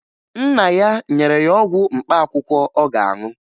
Nna ya nyere ya ọgwụ mkpaakwụkwọ ọ ga-aṅụ